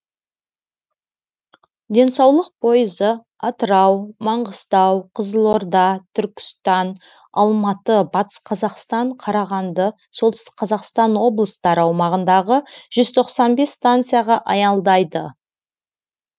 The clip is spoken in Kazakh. денсаулық пойызы атырау маңғыстау қызылорда түркістан алматы батыс қазақстан қарағанды солтүстік қазақстан облыстары аумағындағы жүз тоқсан станцияға аялдайды